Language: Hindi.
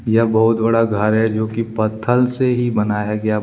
बहुत बड़ा घर है जोकि पत्थर से ही बनाया गया--